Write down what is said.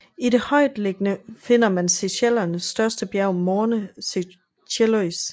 I det højtliggende finder man Seychellernes største bjerg Morne Seychellois